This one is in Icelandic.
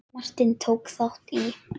Martin, tók þátt í.